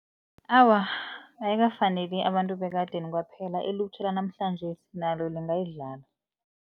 Awa, ayikafaneli abantu bekadeni kwaphela ilutjha lanamhlanjesi nalo lingayidlala.